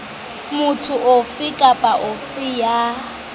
motho ofe kapa ofe ya